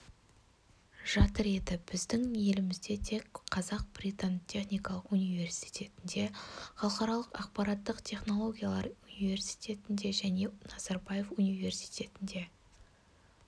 жатыр еді біздің елімізде тек қазақ-британ техникалық университетінде халықаралық ақпараттық технологиялар университетінде және назарбаев университетінде